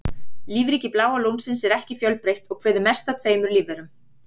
Lífríki Bláa lónsins er ekki fjölbreytt og kveður mest að tveimur lífverum.